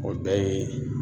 O bɛɛ ye